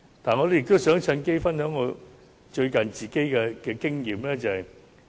我想藉此機會分享我最近的個人經驗。